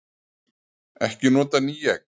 Ekki nota ný egg